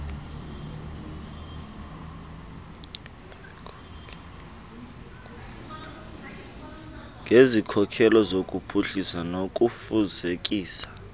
ngesikhokelo sokuphuhlisa nokufezekisa